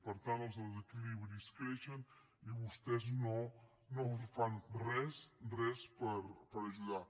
per tant els desequilibris creixen i vostès no fan res res per ajudar